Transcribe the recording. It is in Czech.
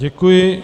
Děkuji.